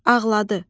Ağladı.